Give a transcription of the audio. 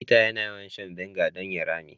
Peter yana yawan shan " vinegar " don ya rame.